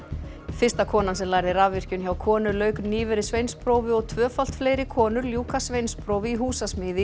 fyrsta konan sem lærði rafvirkjun hjá konu lauk nýverið sveinsprófi og tvöfalt fleiri konur ljúka sveinsprófi í húsasmíði